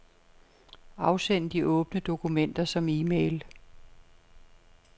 Afsend de åbne dokumenter som e-mail.